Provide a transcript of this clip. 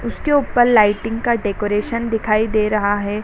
उसके उपल लाइटिंग का डेकोरेशन दिखाई दे रहा है |